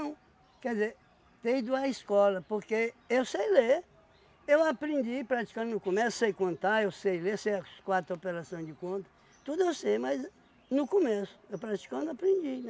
quer dizer, ter ido à escola, porque eu sei ler, eu aprendi praticando no comércio, sei contar, eu sei ler, sei as quatro operação de conta, tudo eu sei, mas no comércio, eu praticando, aprendi, né?